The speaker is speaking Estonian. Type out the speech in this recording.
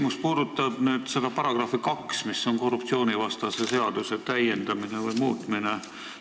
Minu küsimus puudutab § 2 "Korruptsioonivastase seaduse muutmine".